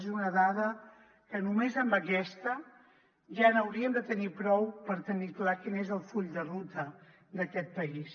és una dada que només amb aquesta ja n’hauríem de tenir prou per tenir clar quin és el full de ruta d’aquest país